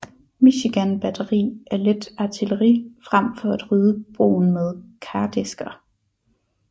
Michigan batteri af let artilleri frem for at rydde broen med kardæsker